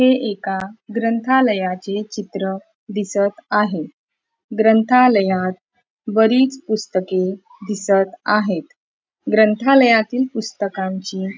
हे एका ग्रंथालयाचे चित्र दिसत आहे ग्रंथालयात बरीच पुस्तके दिसत आहेत ग्रंथालयातील पपुस्तकांची--